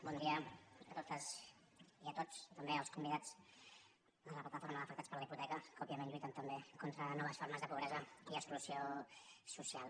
bon dia a totes i a tots també als convidats de la plataforma d’afectats per la hipoteca que òbviament lluiten també contra les noves formes de pobresa i exclusió social